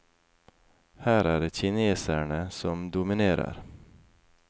Her er det kinesere som dominerer.